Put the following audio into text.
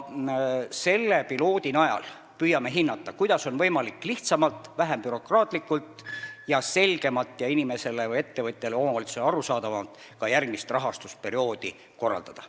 Selle pilootprojekti abil püüame hinnata, kuidas on võimalik lihtsamalt, vähem bürokraatlikult, rohkem selgemalt ja inimesele, ettevõtjatele või omavalitsusele arusaadavamalt ka järgmist rahastusperioodi korraldada.